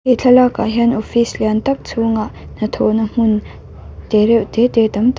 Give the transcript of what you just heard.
he thlaklak ah hian office lian tak chhungah hnathawh na hmun te reuh te te tam tak--